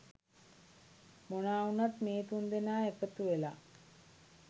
මොනා වුනත් මේ තුන් දෙනා එකතු වෙලා